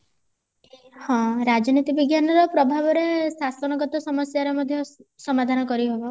ହଁ ରାଜନୀତି ବିଜ୍ଞାନର ପ୍ରଭାବରେ ଶାସନ ଗତ ସମସ୍ଯା ର ମଧ୍ୟ ସମାଧାନ କରିହବ